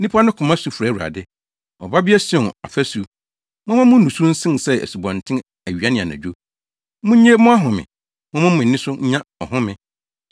Nnipa no koma su frɛ Awurade. Ɔbabea Sion afasu, momma mo nusu nsen sɛ asubɔnten awia ne anadwo; munnye mo ahome momma mo ani nso nnya ɔhome.